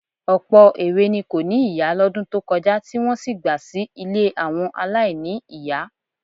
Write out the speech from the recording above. Ọ̀pọ̀ èwe ni kò ní ìyá lọ́dún tó kọjá tí wọ́n sì gba sí ilé àwọn aláìní-ìyá. ,=